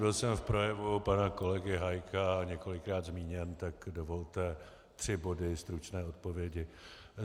Byl jsem v projevu pana kolegy Hájka několikrát zmíněn, tak dovolte tři body, stručné odpovědi.